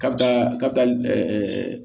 Kabila kabila